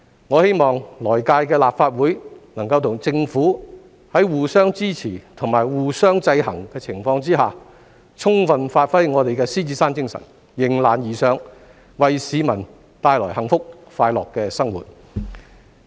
我希望來屆立法會能夠與政府在互相支持及互相制衡的情況下，充分發揮我們的獅子山精神、迎難而上，為市民帶來幸福快樂的生活。